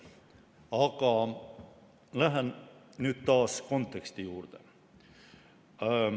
Aga lähen nüüd taas konteksti juurde.